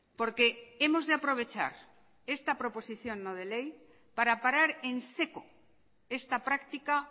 porque hemos de aprovechar esta proposición no de ley para parar en seco esta práctica